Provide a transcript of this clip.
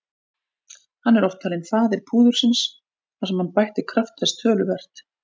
Hann er oft talinn faðir púðursins þar sem hann bætti kraft þess töluvert.